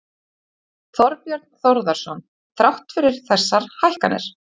Þorbjörn Þórðarson: Þrátt fyrir þessar hækkanir?